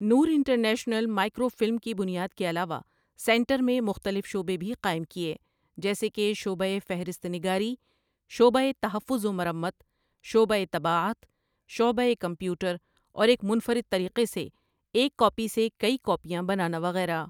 نورانٹرنیشنل microfilm کی بنیاد کے علاوہ سینٹر میں مختلف شعبے بھی قائم کیے جیسے کہ شعبۂ فہرست نگاری، شعبۂ تحفظ و مرمّت، شعبۂ طباعت، شعبۂ کمپیوٹر اور ایک منفرد طریقے سے ایک کاپی سے کئی کاپیاں بنانا وغیرہ ۔